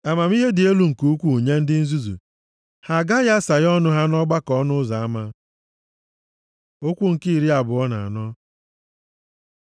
Amamihe dị elu nke ukwuu nye ndị nzuzu, ha gaghị asaghe ọnụ ha nʼọgbakọ ọnụ ụzọ ama. Okwu nke iri abụọ na anọ